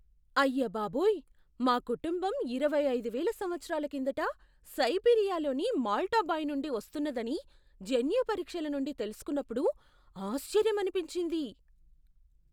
అయ్యబాబోయ్! మా కుటుంబం ఇరవై అయిదు వేల సంవత్సరాల కిందట సైబీరియాలోని మాల్టా బాయ్ నుండి వస్తున్నదని జన్యు పరీక్షల నుండి తెలుసుకున్నప్పుడు ఆశ్చర్యమనిపించింది.